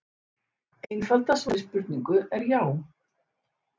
Einfalda svarið við þessari spurningu er já.